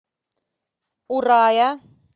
урая